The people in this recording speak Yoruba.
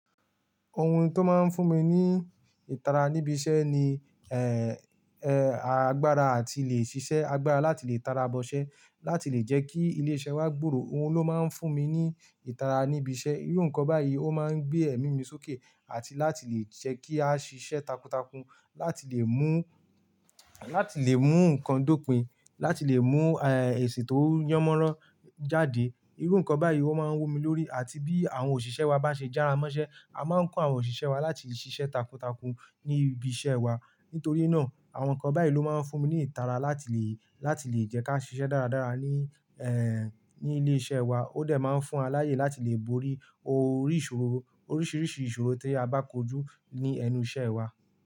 Ohun tó máa ń fún mi ní ìtara níbi iṣẹ́ ni, ẹ, agbára àti lè ṣiṣẹ́ agbára láti lè tara bọ́ṣẹ́, láti lè jẹ́ kí ilé-iṣẹ́ wa gbòòrò. Ohun ló máa ń fún mi ní ìtara níbi iṣẹ́. Irú nǹkan báyìí ó máa ń gbé ẹ̀mí mi sókè àti láti lè jẹ́ kí a ṣiṣẹ́ takuntakun, láti lè mú, láti lè mú nǹkan dópin, láti lè mú, ẹ, èsì tó yánmọ́rán jáde. Irú nǹkan báyìí ọ́ máa ń wù mí lórí àti bí àwọn òṣìṣẹ́ wa bá ṣe jára mọ́ṣẹ́, a máa ń kọ́ àwọn òṣìṣẹ́ wa láti ṣiṣẹ́ takuntakun ní ibi iṣẹ́ wa. Nítorí náà, àwọn nǹkan báyìí ló máa ń fún mi ní ìtara láti lè, láti lè jẹ́ ká ṣiṣẹ́ dáradára ní, ẹ, ní ilé iṣẹ́ wa. Ó de máa ń fún wa láyè láti lè borí oríṣiríṣi ìṣòro tí a bá kojú ní ẹnu iṣẹ́ wa.